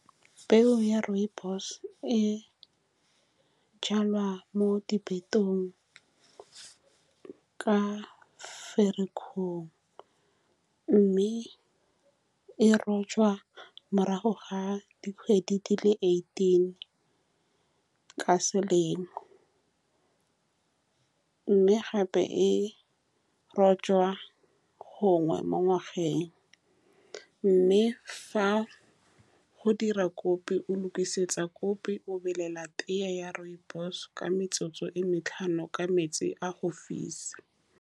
Peo ya rooibos-o e jalwa mo diphetong ka Ferikgong, mme e rojwa morago ga dikgwedi di le eighteen ka selemo, mme gape e rojwa gangwe mo ngwageng, mme fa go dira kopi, o lokisetsa kopi o belela tea ya rooibos-e ka metsotso e matlhano ka metsi a go fisa.